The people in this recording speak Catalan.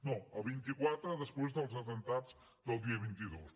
no el vint quatre després dels atemptats del dia vint dos